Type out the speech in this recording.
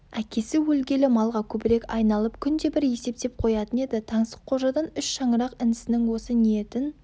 әкесі өлгелі малға көбірек айналып күнде бір есептеп қоятын еді таңсыққожадан үш шаңырақ інісінің осы ниетін